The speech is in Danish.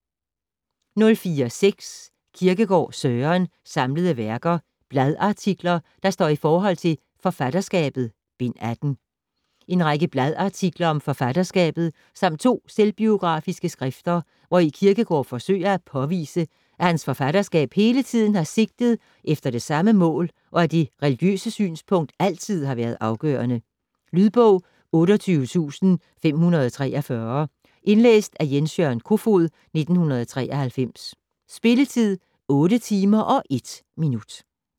04.6 Kierkegaard, Søren: Samlede Værker: Bladartikler, der står i Forhold til "Forfatterskabet": Bind 18 En række bladartikler om forfatterskabet samt to selvbiografiske skrifter, hvori Kierkegård forsøger at påvise, at hans forfatterskab hele tiden har sigtet efter det samme mål, og at det religiøse synspunkt altid har været afgørende. Lydbog 28543 Indlæst af Jens-Jørgen Kofod, 1993. Spilletid: 8 timer, 1 minutter.